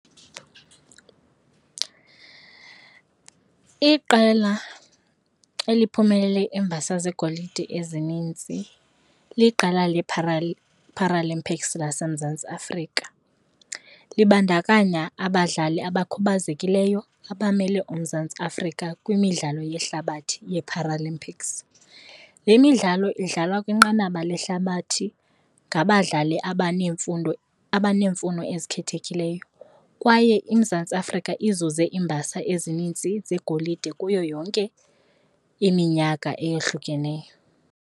Iqela eliphumelele imbasa zegolide ezinintsi liqela le Paralympics laseMzantsi Afrika, libandakanya abadlali abakhubazekileyo abamele uMzantsi Afrika kwimidlalo yehlabathi yeeParalymics. Le midlalo idlalwa kwinqanaba lehlabathi ngabadlali abanemfundo, abaneemfuno ezikhethekileyo kwaye iMzantsi Afrika ize iimbasa ezinintsi zegolide kuyo yonke iminyaka eyohlukeneyo.